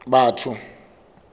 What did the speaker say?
batho